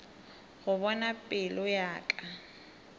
go bona pelo ya ka